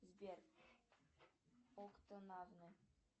сбер